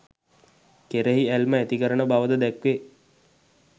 කෙරෙහි ඇල්ම ඇතිකරන බවද දැක්වේ.